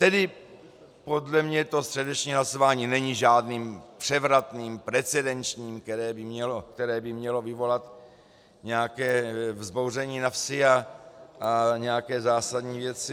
Tedy podle mě to středeční hlasování není žádným převratným precedenčním, které by mělo vyvolat nějaké vzbouření na vsi a nějaké zásadní věci.